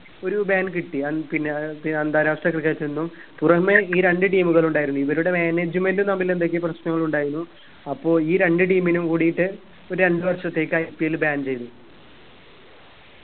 ഒരു ban കിട്ടി അന്ന് പിന്നെ ആഹ് പിന്നെ അന്താരാഷ്ട്ര cricket ഇന്നും പുറമെ ഈ രണ്ട് team കളുണ്ടായിരുന്നു ഇവരുടെ management ഉം തമ്മിൽ എന്തൊക്കയോ പ്രശ്നങ്ങളുണ്ടായിനു അപ്പൊ ഈ രണ്ട് team നും കൂടിയിട്ട് ഒരു രണ്ട് വര്ഷത്തേക് IPLban ചെയ്തു.